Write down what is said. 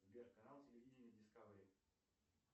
сбер канал телевидения дискавери